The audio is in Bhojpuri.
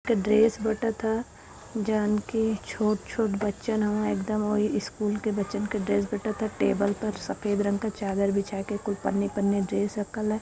ड्रेस बटता जानकी छोट छोट बच्चन हवे एक दम ओही स्कूल के बच्चन की ड्रेस बटताटे टेबल पर सफेद रंग का चादर बिछा के कोई पन्नी पन्नी ड्रेस रखल है।